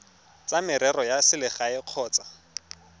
tsa merero ya selegae kgotsa